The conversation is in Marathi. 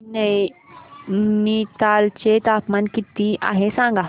आज नैनीताल चे तापमान किती आहे सांगा